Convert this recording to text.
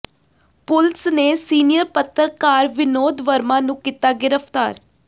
ਪੁਲਸ ਨੇ ਸੀਨੀਅਰ ਪੱਤਰਕਾਰ ਵਿਨੋਦ ਵਰਮਾ ਨੂੰ ਕੀਤਾ ਗ੍ਰਿਫਤਾਰ